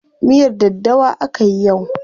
Miyar daddawa akayi yau.